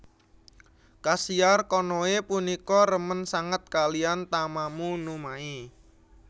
Kasiar Konoe punika remen sanget kalihan Tamamo no Mae